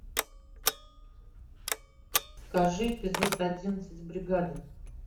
покажи эпизод одиннадцать бригада